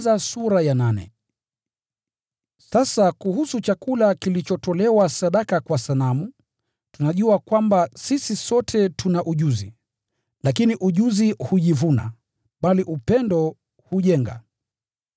Sasa kuhusu chakula kilichotolewa sadaka kwa sanamu, tunajua kwamba “sisi sote tuna ujuzi.” Lakini ujuzi hujivuna, bali upendo hujenga.